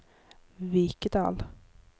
Vikedal